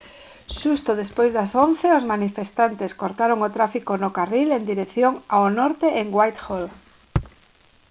xusto despois das 11:00 h os manifestantes cortaron o tráfico no carril en dirección ao norte en whitehall